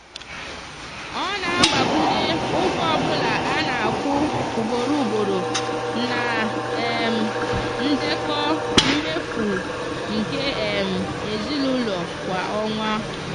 ọ na-agbakwunye ụgwọ ọbụla a na-akwụ ugboro ugboro na um ndekọ mmefu nke um ezinụụlọ kwa ọnwa.